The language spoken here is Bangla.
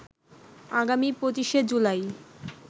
আগামী ২৫শে জুলাই